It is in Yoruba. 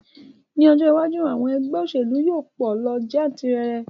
Ní ọjọ́ iwájú, àwọn ẹgbẹ́ òṣèlú yóò pọ̀ lọ jantirẹrẹ